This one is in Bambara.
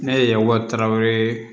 Ne ye wa tarawele